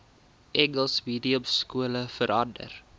engels mediumskole verander